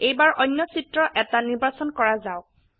এইবাৰ অন্য চিত্ৰ এটা নিৰ্বাচন কৰা যাওক